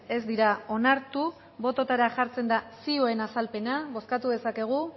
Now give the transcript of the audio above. ez dira onartu bototara jartzen da zioen azalpena bozkatu dezakegu